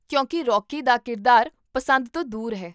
ਕਿਉਂਕਿ ਰੌਕੀ ਦਾ ਕਿਰਦਾਰ ਪਸੰਦ ਤੋਂ ਦੂਰ ਹੈ